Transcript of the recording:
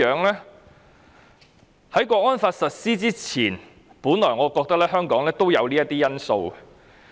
在《港區國安法》實施前，我也覺得香港有這些優勢。